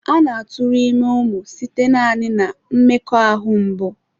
A na-aturu ime umu site naani na mmekoahu mbụ.